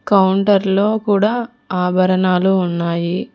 Counter లో కూడా ఆభరణాలు ఉన్నాయి.